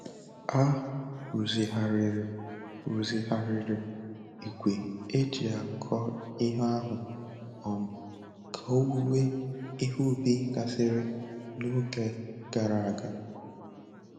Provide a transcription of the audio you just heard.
A rụzigharịrị rụzigharịrị igwe eji akọ ihe ahụ um ka owuwe ihe ubi gasịrị n'oge gara aga.